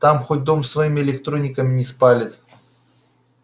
так хоть дом своими электрониками не спалит